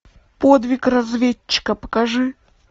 подвиг разведчика покажи